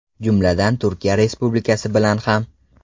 Jumladan Turkiya Respublikasi bilan ham.